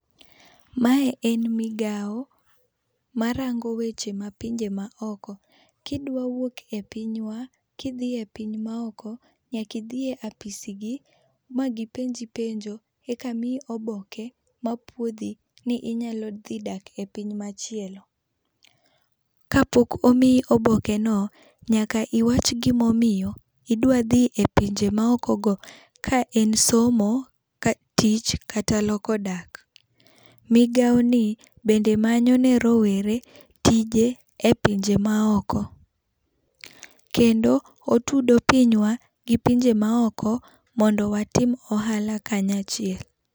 Mae en migao ma rango weche ma pinje ma oko, ki idwa wuok e pinywa ki idhi e pinje ma oko, idhi e apisi gi ma gi penji penjo e ka miyi oboke mapuodhi ni inyalo dhi dak e piny machielo. Ka pok omiyi oboke no nyaka iwach gi ma omiyo idwa dhi e pinje ma oko go ka en somo, tich kata loko dak. migao ni bende manyo ne rowere tije e pinje ma oko. Kendo otudo pinywa gi pinje ma oko mondo watim ohala kanyachiel.